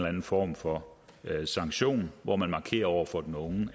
anden form for sanktion hvor man markerer over for den unge